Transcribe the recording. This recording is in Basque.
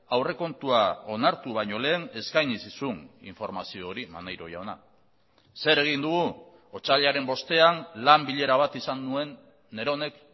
aurrekontua onartu baino lehen eskaini zizun informazio hori maneiro jauna zer egin dugu otsailaren bostean lan bilera bat izan nuen neronek